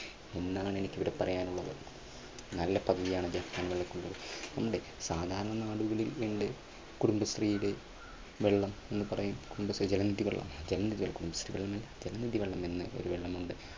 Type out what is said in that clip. എന്നാണ് എനിക്ക് ഇവിടെ പറയാനുള്ളത് നല്ല പദ്ധതിയാണ് ജപ്പാൻ സാധാരണ ആളുകളുണ്ട് കുടുംബശ്രീയില് വെള്ളം എന്ന് പറയും കുടുംബശ്രീ ജലനിധി വെള്ളം